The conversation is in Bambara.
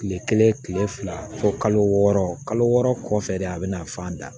Kile kelen kile fila fo kalo wɔɔrɔ kalo wɔɔrɔ kɔfɛ de a bɛna fan da